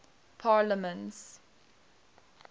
parliaments